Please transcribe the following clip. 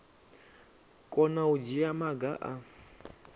kona u dzhia maga a